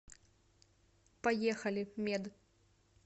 поехали мед